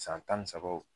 San tan ni sabaw